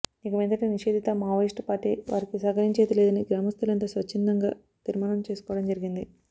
ఇక మీదట నిషేధిత మావోయిస్ట్ పార్టీ వారికి సహకరించేది లేదని గ్రామస్తులంతా స్వచ్ఛందంగా తీర్మానం చేసుకోవడం జరిగింది